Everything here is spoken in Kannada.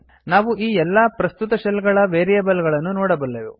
ನಾವು ಎಲ್ಲಾ ಪ್ರಸ್ತುತ ಶೆಲ್ ಗಳ ವೇರಿಯೇಬಲ್ ಗಳನ್ನು ನೋಡಬಲ್ಲೆವು